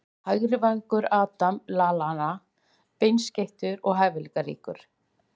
Hægri vængur- Adam Lallana Beinskeyttur og hæfileikaríkur.